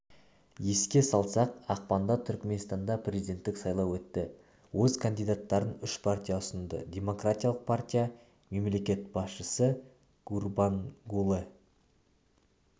еске салсақ ақпанда түркменстанда президенттік сайлау өтті өз кандидаттарын үш партия ұсынды демкратиялық партия мемлекет басшысыгурбангулы